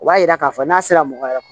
O b'a yira k'a fɔ n'a sera mɔgɔ wɛrɛ ma